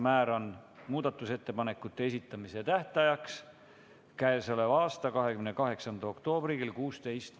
Määran muudatusettepanekute esitamise tähtajaks k.a 28. oktoobri kell 16.